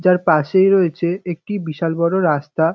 যার পাশেই রয়েছে একটি বিশাল বড় রাস্তা।